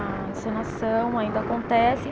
A encenação ainda acontece.